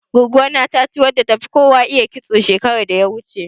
Goggo na ta ci wadda tafi kowa iya kitso, shekarar da ta wuce.